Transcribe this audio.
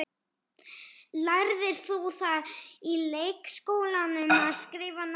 Lærðir þú það í leikskólanum, að skrifa nafnið þitt?